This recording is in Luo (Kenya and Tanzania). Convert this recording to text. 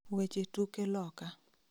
Weche tuke loka